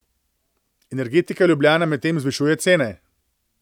Energetika Ljubljana medtem zvišuje cene.